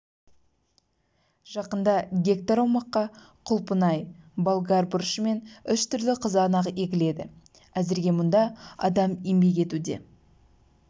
жақында гектар аумаққа құлпынай болгар бұрышы мен үш түрлі қызанақ егіледі әзірге мұнда адам еңбек етуде